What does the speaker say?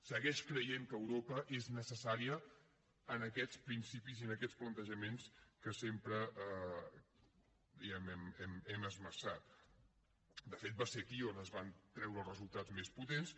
segueix creient que europa és necessària en aquests principis i en aquests plantejaments que sempre diguem ne hem esmerçat de fet va ser aquí on es van treure els resultats més potents